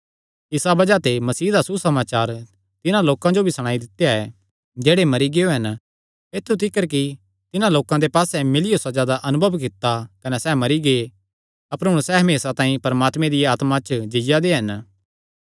इसा बज़ाह ते मसीह दा सुसमाचार तिन्हां लोकां जो भी सणाई दित्या ऐ जेह्ड़े मरी गियो हन ऐत्थु तिकर कि तिन्हां लोकां दे पास्से मिलियो सज़ा दा अनुभव कित्ता कने सैह़ मरी गै अपर हुण सैह़ हमेसा तांई परमात्मे दिया आत्मा च जीआ दे हन